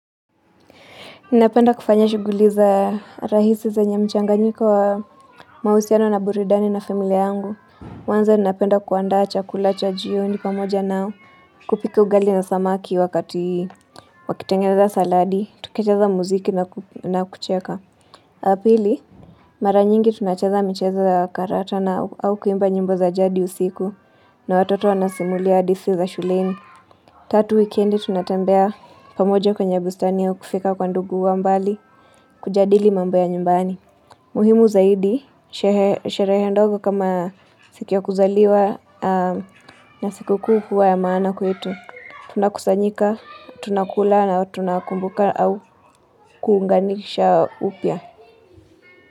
Ninapenda kufanya shuguliza rahisi zenye mchanganyiko wa mahusiano na burudani na familia yangu. Kwanza napenda kuandaa chakula cha jioni pamoja nao, kupika ugali na samaki wakati wakitengeza saladi, tukecheza muziki na kucheka. La pili, mara nyingi tunacheza mchezo karata na au kuimba nyimbo za jadi za usiku na watoto wanasimulia hadithi za shuleni. Tatu weekendi tunatembea pamoja kwenye bustani au kufika kwa ndugu wa mbali, kujadili mambo ya nyumbani. Muhimu zaidi, she sherehe ndogo kama siki wa kuzaliwa na sikukuu huwa ya maana kwetu. Tunakusanyika, tunakula na tunakumbuka au kuunganisha upya.